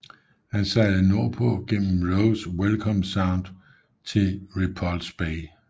Han sejlede nordpå gennem Roes Welcome Sound til Repulse Bay